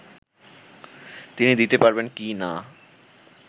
তিনি দিতে পারবেন কি না